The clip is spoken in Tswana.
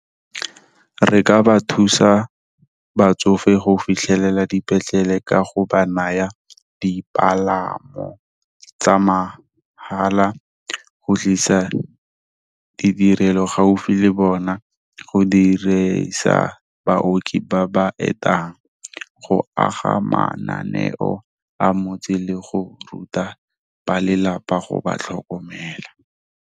Re ka ba thusa batsofe go fitlhelela dipetlele ka go ba naya dipalamo tsa mahala, go tlisa ditirelo gaufi le bona, go diresa baoki ba ba etang, go aga mananeo a motse, le go ruta ba lelapa go ba tlhokomela.